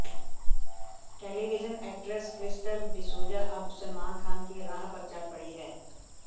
television actress Krystle D'Souza अब सलमान खान की राह पर चल पड़ी हैं